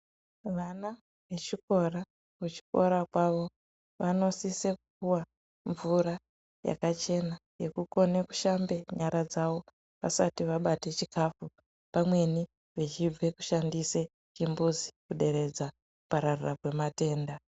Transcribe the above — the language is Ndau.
Vana vechikora kuchikora kwavo vanosise kupuwa mvura yakachena yekukone kushambe nyara dzavo vasati vabate chikhafu pamweni vachibva kushandise chimbuzi kuderedza kupararira kwematenda.